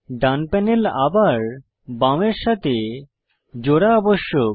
ডান panel আবার বামের সাথে জোড়া আবশ্যক